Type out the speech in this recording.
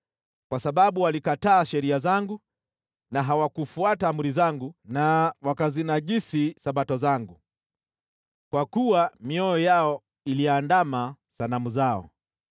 kwa sababu walikataa sheria zangu na hawakufuata amri zangu na wakazinajisi Sabato zangu. Kwa kuwa mioyo yao iliandama sanamu zao.